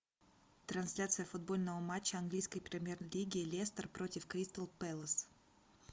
трансляция футбольного матча английской премьер лиги лестер против кристал пэлас